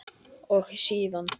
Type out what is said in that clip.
og síðan